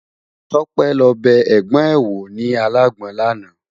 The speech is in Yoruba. Tope lò bè ègbòn è wó ni àlágbòn làná